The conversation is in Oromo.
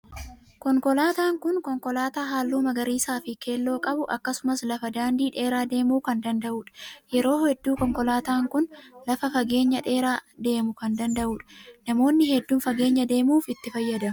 Konkolaataan kun konkolaataa halluu magariisaa fi keelloo qabu akkasumas lafa daandii dheeraa deemuu kan danda'udha. Yeroo hedduu konkolaataan kun lafa fageenya dheeraa deemuu kan danda'udha. Namoonni hedduun fageenya deemuuf itti fayyadamu.